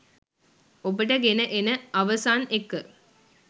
ඔබට ගෙන එන අවසන් එක.